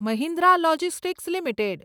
Mahindra logistics limited